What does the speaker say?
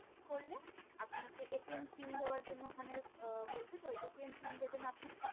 করলে আপনাকে pin দেওয়ার জন্য ওখানে আহ বলবে তো pin দেবেন আপনি